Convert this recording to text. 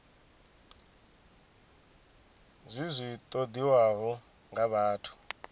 zwi zwi ṱoḓiwaho nga vhathu